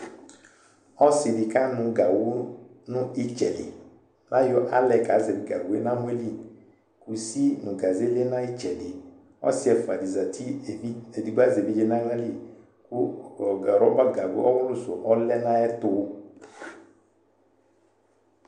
Ɔsɩ dɩ kanʋ nʋ ɩtsɛ li Ayɔ alɛ kazɛvɩ gawʋ yɛ nʋ amɔ yɛ li, kusi nʋ gaze lɛ nʋ ayʋ ɩtsɛdɩ Ɔsɩ ɛfʋa dɩ zati evidze, edigbo azɛ evidze nʋ aɣla li kʋ ɔ rɔba gago ɔɣʋlʋ sʋ ɔlɛ nʋ ayɛtʋ